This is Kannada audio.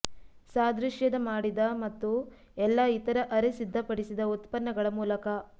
ಸಾದೃಶ್ಯದ ಮಾಡಿದ ಮತ್ತು ಎಲ್ಲಾ ಇತರ ಅರೆ ಸಿದ್ಧಪಡಿಸಿದ ಉತ್ಪನ್ನಗಳ ಮೂಲಕ